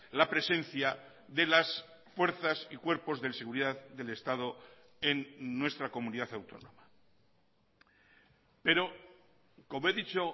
la presencia de las fuerzas y cuerpos de seguridad del estado en nuestra comunidad autónoma pero como he dicho